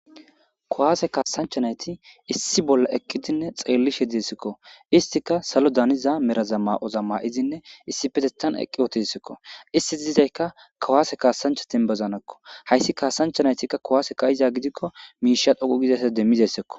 kowaase kaasanchanayti issi bolla eqqidinne xeellishe desikko istika salo daniza meraza ma7oza ma7izinne issi petetan eqqi ootisikko issi dizayka kawaase kaasanchatinbazanekko hayssi kaasanchanaytikka kowaase kayiza gidikko miisha dhoqu gizasa demmizayssekko